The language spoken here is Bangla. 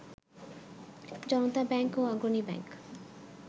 জনতা ব্যাংক ও অগ্রণী ব্যাংক